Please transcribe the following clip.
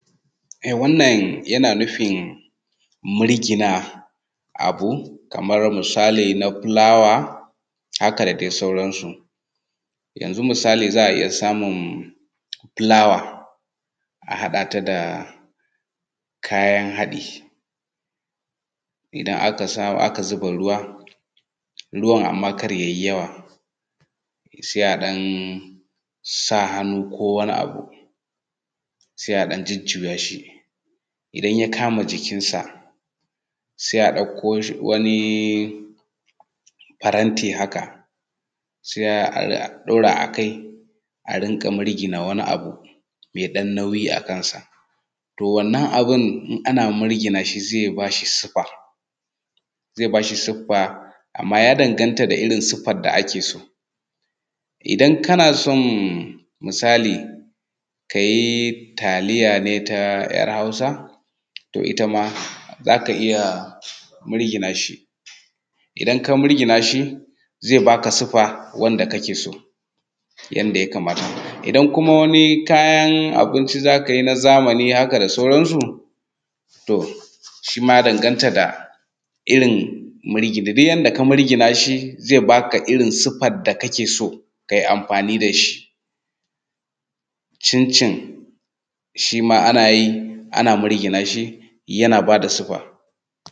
Wannan yana nufi murgina abu kamar misali na fulawa haka da dai sauransu. Yanzu misali za a iya samun fulawa a haɗa ta da kayan haɗi idan aka samu aka zuba ruwa, ruwan amma kar ya yi yawa sai a ɗan sa hannu ko wani abu sai a jujjuya shi, idan ya kama jikinsa, sai a ɗauko wani faranti haka sai a ɗaura a kai a rinƙa murgina wani abu mai ɗan nauyi a kansa. To wannan abun in ana murginan shi zai ba shi sifa amma ya danganta da irin sifa da ake so. Idan kana son misali ka yi taliya ne ta .yar hausa, to ita ma za ka iya murgina shi zai ba ka sifa da wanda kake so yanda ya kamata. Idan kuma wani kayan abinci za ka yi na zamani haka da sauransu. Shi ma ya danganta da irin duk yanda ka murgina shi zai baka irin siffar da ka ke so ka yi amfani da shi. Cin cin, shi ma ana yi ana mirgina shi, shi ma yana ba da siffa.